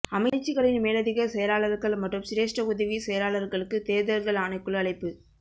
அமைச்சுக்களின் மேலதிக செயலாளர்கள் மற்றும் சிரேஷ்ட உதவி செயலாளர்களுக்கு தேர்தல்கள் ஆணைக்குழு அழைப்பு